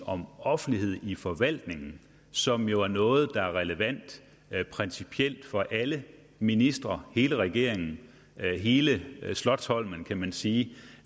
om offentlighed i forvaltningen som jo er noget der er relevant principielt for alle ministre hele regeringen hele slotsholmen kan man sige